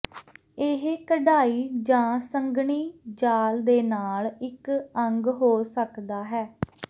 ਇਹ ਕਢਾਈ ਜਾਂ ਸੰਘਣੀ ਜਾਲ ਦੇ ਨਾਲ ਇੱਕ ਅੰਗ ਹੋ ਸਕਦਾ ਹੈ